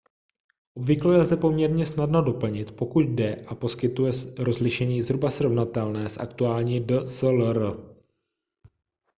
obvykle lze poměrně snadno doplnit pokud dojde a poskytuje rozlišení zhruba srovnatelné s aktuální dslr